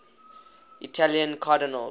italian cardinals